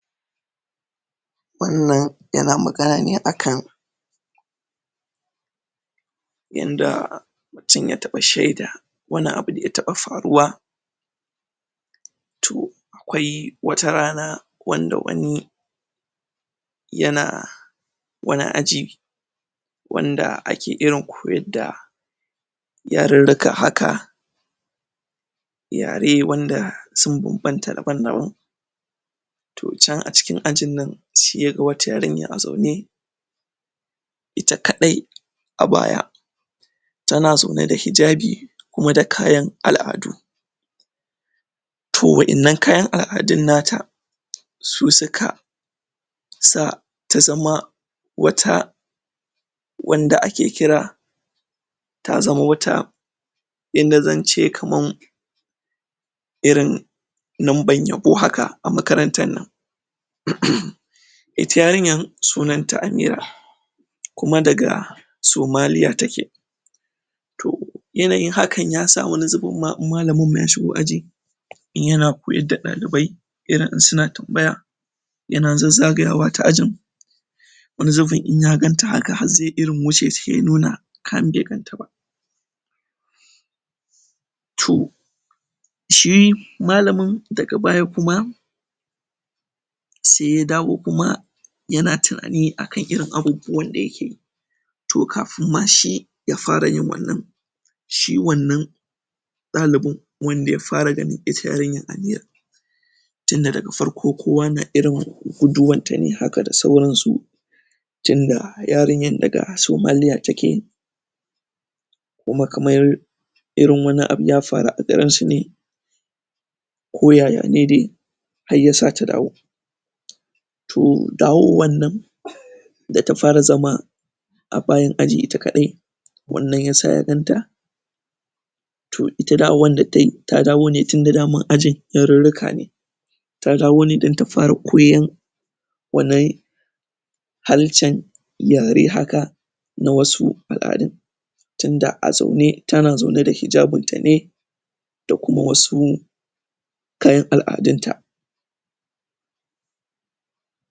wannan yana magana ne akan yanda mutum ya taɓa shaida wani abu da ya taɓa faruwa to akwai wata rana wanda wani yana wani aji wanda ake irin koyar da yarurruka haka yare wanda sun banbanta daban-daban to can a cikin ajin nan se ya ga wata yarinya a zaune ita kaɗai a baya tana zaune da hijabi kuma da kayan al'adu to wa'ennan kayan al'adun nata su suka sa ta zama wata wanda ake kira ta zama wata yanda zance kaman irin nomban yabo haka a makarantar nan ita yarinyan sunan ta Amira kuma daga Somaliya take to yanayin hakan ya sa wani zubin ma in malamin ma ya shigo aji in yana koyar da ɗalibai irin in suna tambaya yana zazzagayawa ta ajin wani zubin in ya ganta haka har ze irin wuce se ya nuna kamar be ganta ba to shi malamin daga baya kuma se ya dawo kuma yana tunani akan irin abubuwan da yake yi to kafin ma shi ya fara yin wannan shi wannan ɗalibin wanda ya fara ganin ita yarinyar Amira tunda daga farko kowa na irin guduwanta ne haka da sauran su tunda yarinyan daga Somaliya take kuma kamar irin wani abu ya faru a garin su ne ko ya-ya ne dai har ya sa ta dawo to dawowan nan da ta fara zama a bayan aji ita kaɗai wannan ya sa ya ganta to ita dawowan da tayi ta dawo ne tunda daman ajin yarurruka ne ta dawo ne dan ta fara koyan wannan halshen yare haka na wasu al'adun tunda a zaune tana zaune da hijabin ta ne da kuma wasu kayan al'adun ta